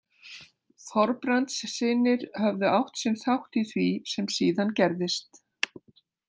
Þorbrandssynir höfðu átt sinn þátt í því sem síðan gerðist.